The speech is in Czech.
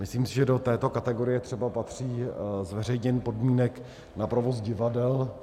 Myslím si, že do této kategorie třeba patří zveřejnění podmínek na provoz divadel.